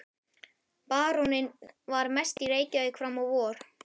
Baróninn var mest í Reykjavík fram á vor.